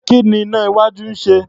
Kí ni iná-iwájú náà ń ṣe?